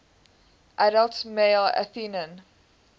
adult male athenian